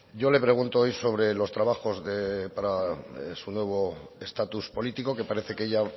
yo le pregunto hoy sobre los trabajos para su nuevo estatus político que parece que ya